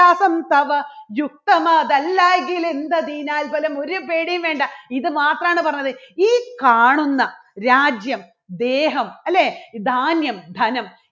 തവ യുക്തമതല്ലാകിലും എന്തതിനാൽ പോലും ഒരു പേടിയും വേണ്ട ഇതു മാത്രാണ് പറഞ്ഞത് ഈ കാണുന്ന രാജ്യം ദേഹം അല്ലേ ധാന്യം ധനം